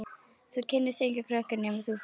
Þú kynnist engum krökkum nema þú farir út.